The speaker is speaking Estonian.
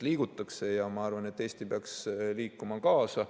Liigutakse ja ma arvan, et Eesti peaks liikuma kaasa.